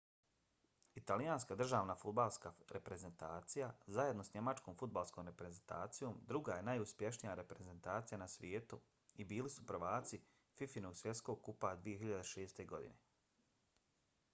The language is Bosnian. italijanska državna fudbalska reprezentacija zajedno s njemačkom fudbalskom reprezentacijom druga je najuspješnija reprezentacija na svijetu i bili su prvaci fifa-inog svjetskog kupa 2006. godine